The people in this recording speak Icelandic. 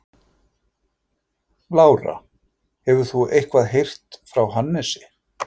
Lára: Hefur þú eitthvað heyrt frá Hannesi?